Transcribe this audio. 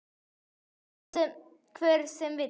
Trúi því hver sem vill.